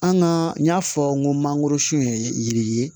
An ka y'a fɔ n ko mangoro sun ye yiri ye